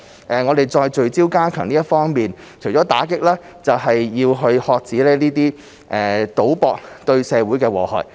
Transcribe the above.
除了聚焦加強打擊非法賭博，還要遏止賭博對社會的禍害。